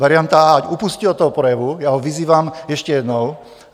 Varianta a) ať upustí od toho projevu, já ho vyzývám ještě jednou.